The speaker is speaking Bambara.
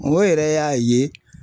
O yɛrɛ y'a ye